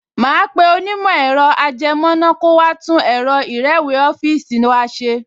Màá pe onímọ̀ ẹ̀rọ-ajẹmọ́ná kó wá tún ẹ̀rọ ìrẹ́wèé ọ́fíìsì wa ṣe